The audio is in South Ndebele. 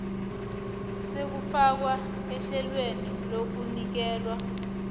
sokufakwa ehlelweni lokunikelwa